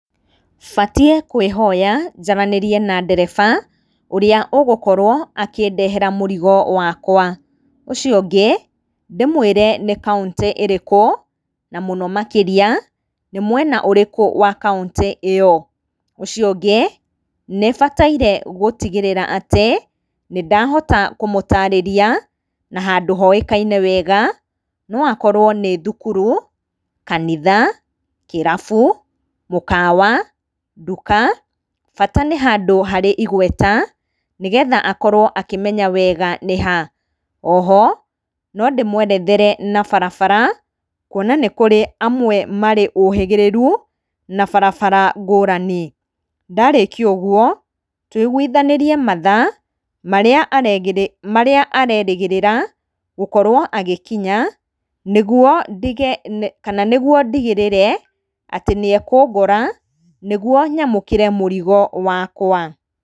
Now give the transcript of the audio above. Batiĩ kwĩhoya njaranĩrie na ndereba, ũrĩa ũgũkorwo akĩndehera mũrigo wakwa. Ũcio ũngĩ, ndĩmwĩre nĩ county ĩrĩkũ, na mũno makĩria, nĩ mwena ũrĩkũ wa county ĩyo. Ũcio ũngĩ, nĩbataire gũtigĩrĩra atĩ, nĩndahota kũmũtaarĩria na handũ hoíkaine weega; no akorwo nĩ thukuru, kanitha, kĩrabu, mũkawa, nduka, bata nĩ handũ harĩ igweta, nĩgetha akorwo akĩmenya weega nĩ ha. Oho, nondĩmwerethere na barabara, kuona nĩ kũrĩ amwe marĩ ũhĩgĩrĩru, na barabara ngũũrani. Ndarĩkia ũguo, tũiguithanĩrie mathaa, marĩa arerĩgĩrĩra gũkorwo agĩkinya, nĩguo ndigĩrĩre atĩ nĩekũngora, nĩguo nyamũkĩre mũrigo wakwa.